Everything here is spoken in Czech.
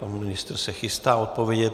Pan ministr se chystá odpovědět.